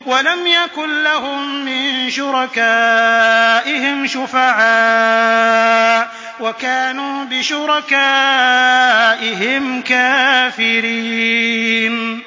وَلَمْ يَكُن لَّهُم مِّن شُرَكَائِهِمْ شُفَعَاءُ وَكَانُوا بِشُرَكَائِهِمْ كَافِرِينَ